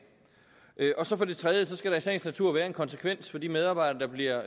for det tredje skal der i sagens natur være en konsekvens for de medarbejdere der bliver